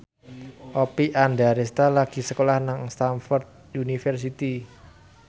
Oppie Andaresta lagi sekolah nang Stamford University